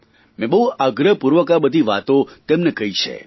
મેં બહુ આગ્રહપૂર્વક આ બધી વાતો તેમને કહી છે